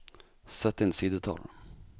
Sett inn sidetall